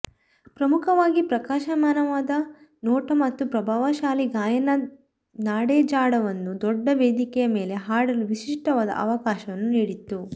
ಪ್ರಮುಖವಾಗಿ ಪ್ರಕಾಶಮಾನವಾದ ನೋಟ ಮತ್ತು ಪ್ರಭಾವಶಾಲಿ ಗಾಯನ ನಾಡೆಝ್ಡಾವನ್ನು ದೊಡ್ಡ ವೇದಿಕೆಯ ಮೇಲೆ ಹಾಡಲು ವಿಶಿಷ್ಟವಾದ ಅವಕಾಶವನ್ನು ನೀಡಿತು